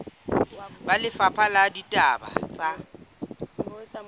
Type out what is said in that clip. ba lefapha la ditaba tsa